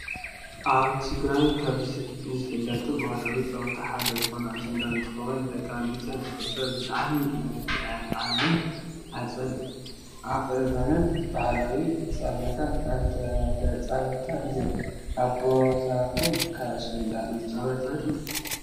ኣብ ትግራይ ካብ ዝፍለጡ ባህላዊ ጨወታ ሓደ ዝኮነ ኣሸንዳ እንትከውን፣ ብደቂ ኣንስትዮ ዝክበርን ብጣዕሚ መልኪዓንን ወቅበንን ባህላዊ ፀወታ እንዳተፃታ እየን። ኣብ ቦታኩም ከ ኣሸንዳ ይፃወታ ዶ?